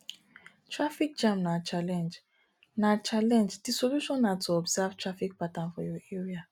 traffic jam na challenge na challenge di solution na to observe traffic pattern for your area